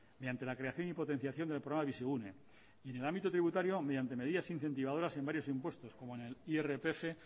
mediante la creación y potenciación del programa bizigune en el ámbito tributario mediante medidas incentivadoras en varios impuestos como en el irpf